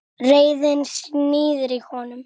Reiðin sýður í honum.